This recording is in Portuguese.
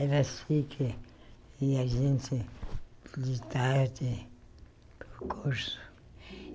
Era assim que que a gente de tarde para o curso.